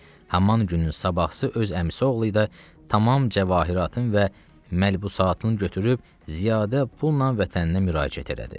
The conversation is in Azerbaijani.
Haman günün sabahısı öz əmisi oğlu idi ki, tamam cəvahiratının və məlbusatının götürüb ziyadə pulla vətəninə müraciət elədi.